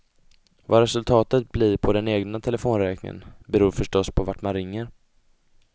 Vad resultatet blir på den egna telefonräkningen beror förstås på vart man ringer.